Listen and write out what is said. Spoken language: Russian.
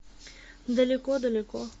далеко далеко